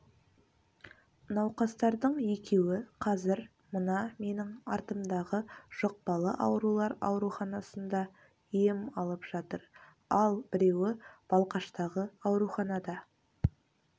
науқастардың екеуі қазір мына менің артымдағы жұқпалы аурулар ауруханасында ем алып жатыр ал біреуі балқаштағы ауруханада